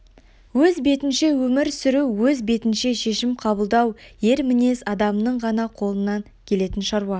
өз бетінше өмір сүру өз бетінше шешім қабылдау ер мінез адамның ғана қолынан келетін шаруа